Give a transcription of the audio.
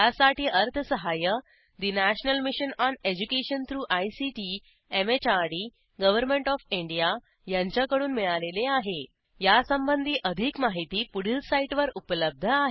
यासाठी अर्थसहाय्य national mission on education through ICT MHRD government O F India यांच्याकडून मिळालेले आहेयासंबंधी अधिक माहिती पुढील साईटवर उपलब्ध आहे